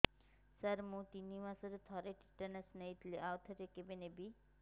ସାର ମୁଁ ତିନି ମାସରେ ଥରେ ଟିଟାନସ ନେଇଥିଲି ଆଉ ଥରେ କେବେ ନେବି